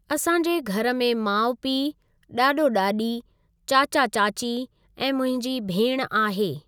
असां जे घरु में माउ पीउ, ॾाॾो ॾाॾी, चाचा चाची ऐं मुंहिंजी भेण आहे।